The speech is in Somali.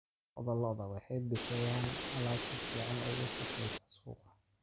Lo'da lo'da waxay bixiyaan alaab si fiican uga shaqeysa suuqa.